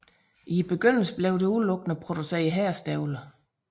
I begyndelse blev der udelukkende produceret herrestøvler